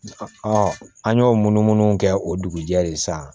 an y'o munu munu kɛ o dugujɛ de san